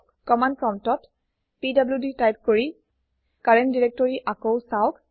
command প্ৰম্পটত PDD type কৰি current directory আকৌ সাওক